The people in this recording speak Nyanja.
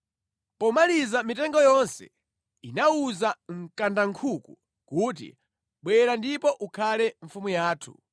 Pomaliza mitengo yonse inawuza mkandankhuku kuti, “Bwera ndipo ukhale mfumu yathu.”